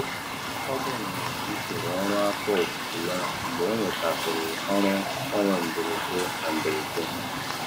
Ọ gbanwere usoro ọrụ afọ ofufo ya mgbe ọ nwetasịrị ọrụ mgbanwe mberede na mberede.